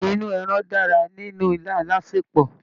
Inú ẹran dára nínú ilá alásèpọ̀.